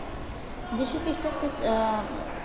যীশুখ্রিষ্ট